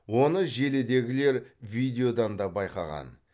оны желідегілер видеодан да байқаған